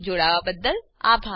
જોડાવાબદ્દલ આભાર